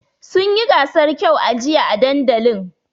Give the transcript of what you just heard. Sun yi gasar kyau a jiya a dandalin.